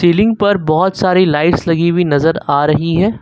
Ceiling पर बहोत सारी लाइट्स लगी हुई नजर आ रही है।